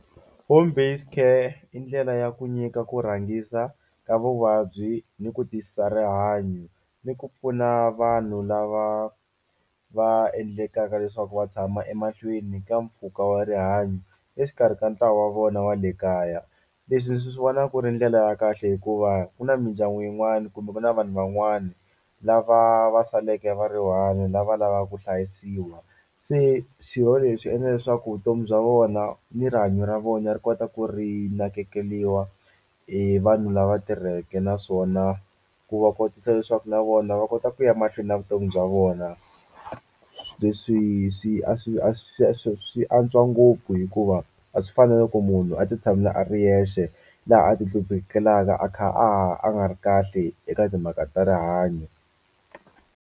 Home based care i ndlela ya ku nyika ku rhangisa ka vuvabyi ni ku tiyisisa rihanyo ni ku pfuna vanhu lava va endlekaka leswaku wa tshama emahlweni ka mpfhuka wa rihanyo exikarhi ka ntlawa wa vona wa le kaya leswi ni swi vona ku ri ndlela ya kahle hikuva ku na mindyangu yin'wana kumbe ku na vanhu van'wani lava va saleke va one lava lava ku hlayisiwa se leswi endla leswaku vutomi bya vona ni rihanyo ra vona ri kota ku ri nakekeliwa hi vanhu lava tirheke naswona ku va kotisa leswaku na vona va kota ku ya mahlweni na vutomi bya vona leswi swi a swi a swi swi swi antswa ngopfu hikuva a swi fani na loko munhu a ti tshamela a ri yexe laha a ti hluphekelaka a kha a nga ri kahle eka timhaka ta rihanyo.